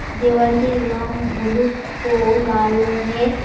দেওয়ালটির রং হলুদ ও লাল রঙের।